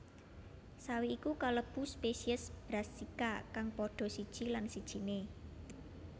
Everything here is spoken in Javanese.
Sawi iku kalebu spesies Brassica kang padha siji lan sijiné